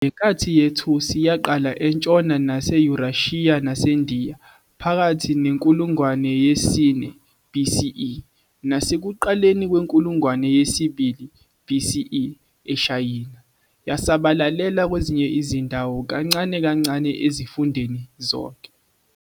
Lenkathi yethusi yaqala entshona naseYurashiya naseNdiya phakathi nekulungwane yesine BCE, nasekuqaleni kwenkulungwane yesibili BCE eShayina, yasabalalela kwezinye izindawo kancane kancane ezifundeni zonke.